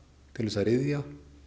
til þess að ryðja